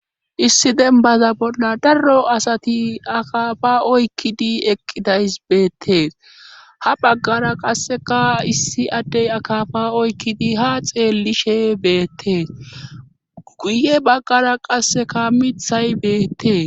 Issi dembaza bolla daro asati akafa oykkidi eqqidays beettee ha baggara qasseka issi addey akafa oykkidi ha xeellishe beette guye baggara qasseka mithay beettee